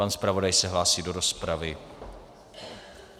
Pan zpravodaj se hlásí do rozpravy.